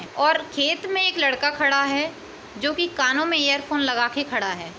और खेत में एक लड़का खड़ा है जो कि कानो मे एअरफ़ोन लगा के खड़ा है।